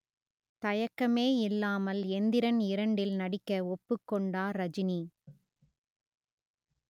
தயக்கமே இல்லாமல் எந்திரன் இரண்டில் நடிக்க ஒப்புக் கொண்டார் ரஜினி